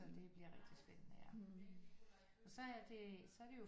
Så det bliver rigtig spændende ja og så er det så er det jo